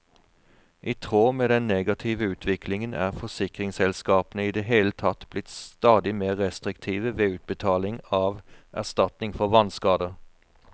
I tråd med den negative utviklingen er forsikringsselskapene i det hele tatt blitt stadig mer restriktive ved utbetaling av erstatning for vannskader.